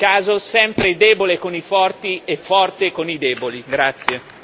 L'Unione europea si dimostra, purtroppo, in ogni caso sempre debole con i forti e forte con i deboli.